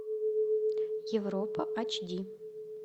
европа эйч ди